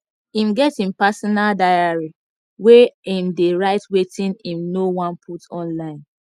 im get im personal diary where im dey write wetin im nor wan put online